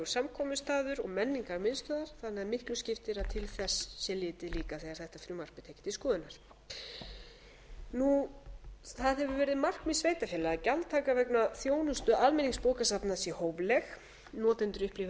samkomustaður og menningarmiðstöðvar þannig að miklu skiptir að til þess sé litið líka þegar þetta frumvarp er til skoðunar það hefur árið markmið sveitarfélaga að gjaldtaka vegna þjónustu almenningsbókasafna sé hófleg notendur upplifi hana